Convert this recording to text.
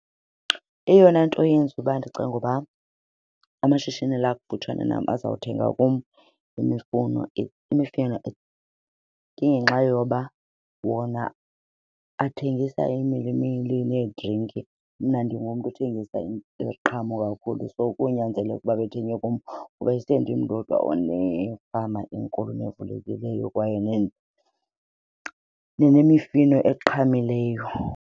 Eyona nto yenza uba ndicinge uba amashishini la akufutshane nam azawuthenga kum imifuno, imifino, ingenxa yoba wona athengisa iimilimili needrinki mna ndingumntu othengisa imiqhamo kakhulu. So konyanzeleka ukuba bethenge kum kuba isendim ndodwa onefama enkulu nevulekileyo kwaye nenemifino eqhamileyo.